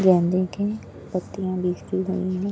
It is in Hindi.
गेंदे के पत्तियां बिखरी हुई हैं।